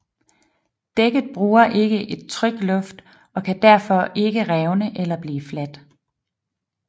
Dækket bruger ikke et trykluft og kan derfor ikke revne eller blive fladt